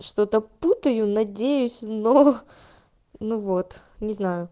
что-то путаю надеюсь но ну вот не знаю